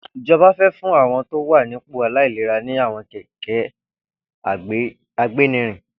Ijọbà fè fùn awọn tó wà nipó áilérà ni awọn kẹkẹ àgbénírìn